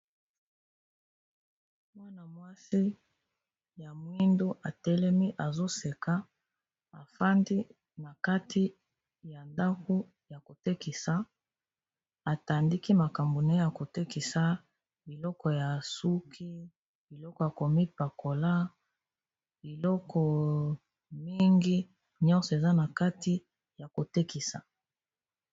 Mwana mwasi ya mwindu atelemi azoseka afandi na kati ya ndaku ya ko tekisa atandi makambo naye kotekisa biloko ya suki biloko ya komi pakola biloko mingi nyonso eza na kati ya kotekisa.